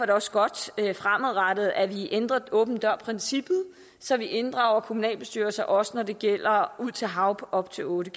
det også godt fremadrettet at vi ændrer åben dør princippet så vi inddrager kommunalbestyrelser også når det gælder ud til hav på op til otte